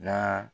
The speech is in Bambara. Na